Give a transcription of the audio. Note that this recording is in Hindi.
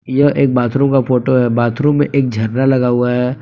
यह एक बाथरूम का फोटो है बाथरूम में एक झरना लगा हुआ है।